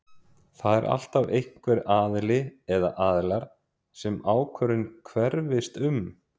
Það er alltaf einhver aðili eða aðilar sem ákvörðunin hverfist um.